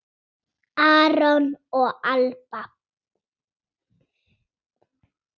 Aron og Alba.